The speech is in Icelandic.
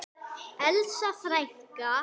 Elsa frænka.